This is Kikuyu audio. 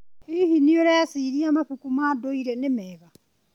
Hihi, nĩ ũreciria mabuku ma ndũire nĩ mega?